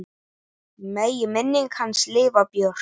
Megi minning hans lifa björt.